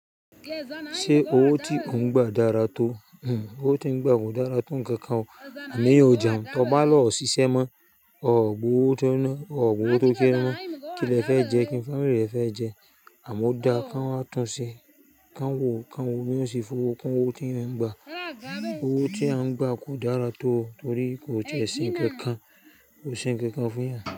Ṣé owó tí ò ń gba dára tó? Hmmm owó tí ń gba kò dára tó ǹkan kan o, àmeyàn ò jẹ́un, tó bá lọ ṣiṣẹ́ mọ, ọ̀ọ̀ gbowó tó náà, ọ̀ọ̀ gbowó tó sẹ́ nọ, kí lẹ fẹ́ jẹ? Kí ń fámílì rẹ fẹ́ jẹ? Àmọ́ ó da ká ń wá tun se, ká ń wò, ká ń wò bí wọ́n ṣe fọwọ́, kun owò tí ń eyan ń gba. Owó tí a ń gba kò dára tó torí kò ṣe ǹkan kan, kò ṣe ǹkan kan fún yan.